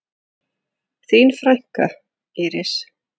Þín frænka, Íris.